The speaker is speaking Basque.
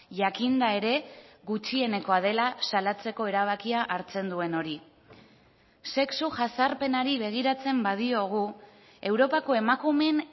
jakinda ere gutxienekoa dela salatzeko erabakia hartzen duen hori sexu jazarpenari begiratzen badiogu europako emakumeen